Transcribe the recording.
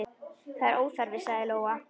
Það er óþarfi, sagði Lóa.